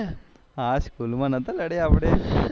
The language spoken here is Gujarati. હા સ્કૂલ માં નાતા લડ્યા આપડે